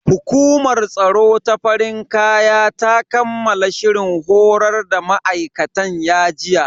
Hukumar tsaro ta farin kaya ta kammala shirin horar da ma'aikatan ya jiya.